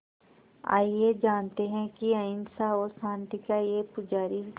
आइए जानते हैं कि अहिंसा और शांति का ये पुजारी